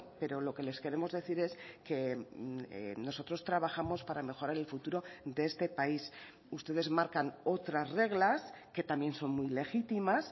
pero lo que les queremos decir es que nosotros trabajamos para mejorar el futuro de este país ustedes marcan otras reglas que también son muy legítimas